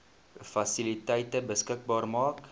fasiliteite beskikbaar maak